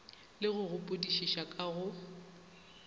le go gopodišiša ka go